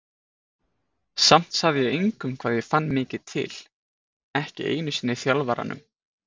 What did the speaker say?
Samt sagði ég engum hvað ég fann mikið til, ekki einu sinni þjálfaranum.